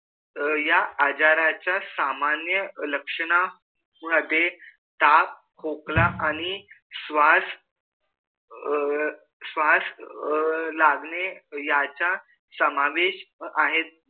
या अजराच्या सामन्य लक्षण मधे ताप खोकला आणि स्वास अ स्वास अ लागने याच्या समावेश आहे